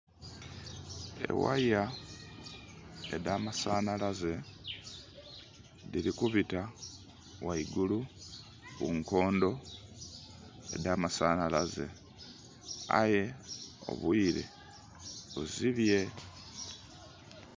Eghaya edhamasanhalaze dhiri kubita ghaigulu ku nkondo edha masanhalaze, aye obwile buzibye.